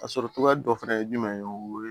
A sɔrɔ cogoya dɔ fana ye jumɛn ye o ye